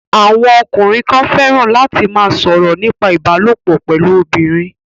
Àwọn ọkùnrin kan fẹ́ràn láti ma sọ̀rọ̀ nípa ìbálòpọ̀ pẹ̀lú obìnrin